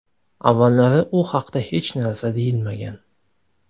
Avvallari u haqda hech narsa deyilmagan.